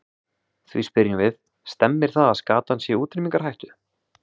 Því spyrjum við, stemmir það að skatan sé í útrýmingarhættu?